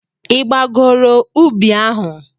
Ị gbagoro ubi ahụ?